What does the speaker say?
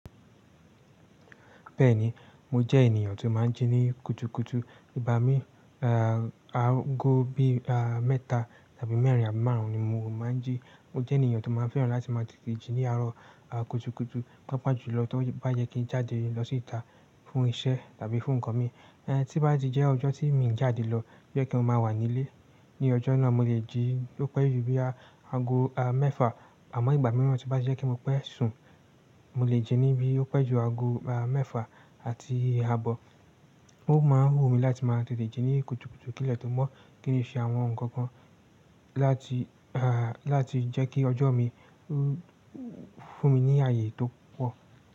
Bẹ́ẹ̀ni, mo jẹ́ ènìyàn tó máa ń jí ní kùtùkùtù. Ìgbà mí, aago bí mẹ́ta tàbí mẹ́rin àbí márùn-ún ni mo máa ń jí. Mo jẹ́ ènìyàn tó máa ń fẹ́ràn láti máa tètè jí ní àárọ̀ kùtùkùtù. Pápá jùlọ tí ó bá yẹ kí n jáde lọ síta fún iṣẹ́ tàbí fún nǹkan mi. Tí bá di jẹ́ ọjọ́ tí mi ń jáde lọ, bí ẹ kí n máa wà nílé, ní ọjọ́ náà mo lè jí ló pé ju bí aago mẹ́fà. Àmọ́ ìgbà mìíràn tí bá jẹ́ kí mo pẹ́ sùn, mo lè jí níbí ó pẹ́ ju aago mẹ́fà àti àbọ̀. Ó máa ń hù mí láti máa tètè jí ní kùtùkùtù kí lè tó mọ̀ kín ṣe àwọn nǹkan kan láti, láti jẹ́ kí ọjọ́ mi fún mi ní ààyè tó pọ̀.